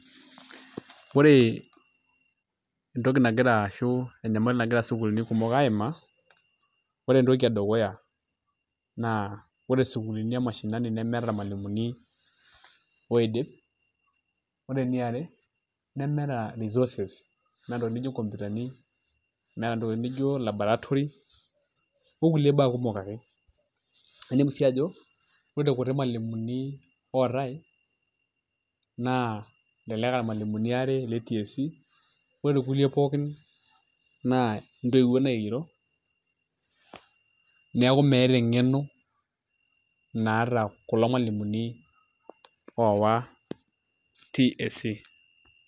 Ore entoki nagira ashu enyamali nagira sukuulini kumok aimaa ore entoki edukuya naa ore sukuulini e mashinani nemeeta irmalimuni oidip ore eniare nemeeta resources meeta ntokitin nijio nkompyutani meeta ntokitin nijio laboratory okulie baa kumok ake inepu sii ajo ore irkuti malimuni ootai naa elelek aa irmalimuni aare le TSC ore kulie pookin naa ntoiwuoo naigero neeku meeta eng'eno naata kulo malimuni oowa TSC.